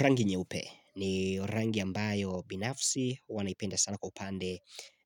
Rangi nyeupe ni rangi ambayo binafsi hua naipenda sana kwa upande